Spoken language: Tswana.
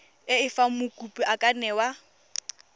fa mokopi a ka newa